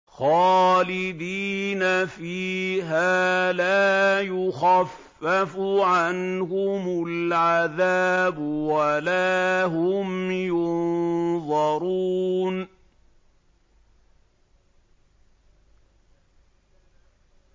خَالِدِينَ فِيهَا لَا يُخَفَّفُ عَنْهُمُ الْعَذَابُ وَلَا هُمْ يُنظَرُونَ